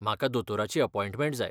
म्हाका दोतोराची अपॉयंटमँट जाय.